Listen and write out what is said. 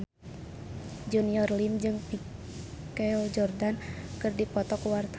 Junior Liem jeung Michael Jordan keur dipoto ku wartawan